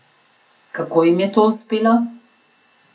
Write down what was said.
Kako jim je to uspelo?